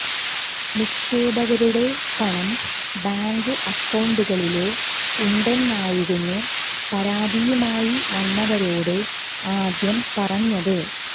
നിക്ഷേപകരുടെ പണം ബാങ്ക് അകൌണ്ടുകളില് ഉണ്ടെന്നായിരുന്നു പരാതിയുമായി വന്നവരോട് ആദ്യം പറഞ്ഞത്